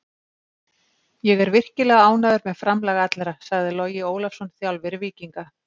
Ég er virkilega ánægður með framlag allra, sagði Logi Ólafsson, þjálfari Víkinga.